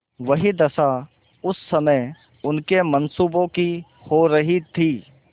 वही दशा इस समय उनके मनसूबों की हो रही थी